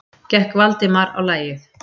gekk Valdimar á lagið.